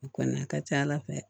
A kɔni a ka ca ala fɛ